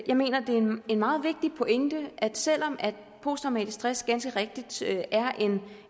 jeg mener det er en meget vigtig pointe at selv om posttraumatisk stress ganske rigtigt er